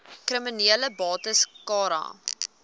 kriminele bates cara